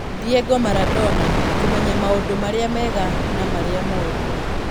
Diego Maradona: Kũmenya maũndũ marĩa mega na marĩa mooru